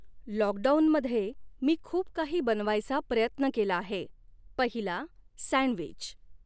लॉउकडाऊनमध्ये मी खूप काही बनवायचा प्रयत्न केला आहे पहिला सँडविच